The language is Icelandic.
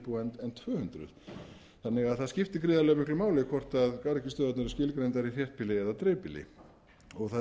íbúa en tvö hundruð þannig að það skiptir gríðarlega miklu máli hvort garðyrkjustöðvarnar eru skilgreindar í þéttbýlli eða dreifbýli